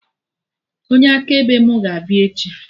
Onye akaebe mụ ga-abịa echi